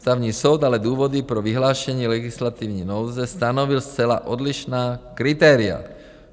Ústavní soud ale důvody pro vyhlášení legislativní nouze stanovil zcela odlišná kritéria.